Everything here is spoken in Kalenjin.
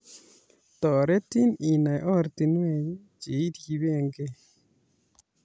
Toretin inai ortinwek che iribegei